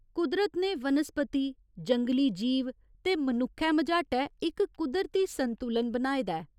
कुदरत ने वनस्पति, जंगली जीव ते मनुक्खै मझाटै इक कुदरती संतुलन बनाए दा ऐ।